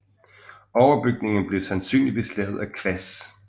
Overbygningen blev sandsynligvis lavet af kvas